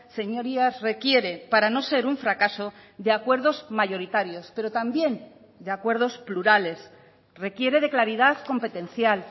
señorías requiere para no ser un fracaso de acuerdos mayoritarios pero también de acuerdos plurales requiere de claridad competencial